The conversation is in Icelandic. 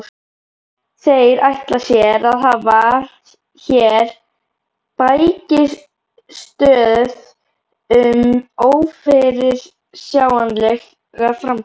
Þeir ætla sér að hafa hér bækistöð um ófyrirsjáanlega framtíð!